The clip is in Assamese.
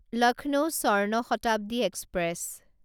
লক্ষ্ণৌ স্বৰ্ণ শতাব্দী এক্সপ্ৰেছ